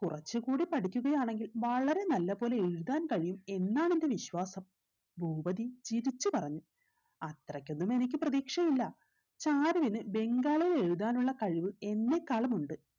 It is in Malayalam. കുറച്ച് കൂടി പഠിക്കുകയാണെങ്കിൽ വളരെ നല്ല പോലെ എഴുതാൻ കഴിയും എന്നാണ് എന്റെ വിശ്വാസം ഭൂപതി ചിരിച്ചു പറഞ്ഞു അത്രയ്‌ക്കൊന്നും എനിക്ക് പ്രതീക്ഷയില്ല ചാരുവിന് ബംഗാളിൽ എഴുതാനുള്ള കഴിവ് എന്നെക്കാളും ഉണ്ട്